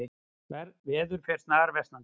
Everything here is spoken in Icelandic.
Veður fer snarversnandi